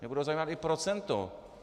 Mě bude zajímat i procento.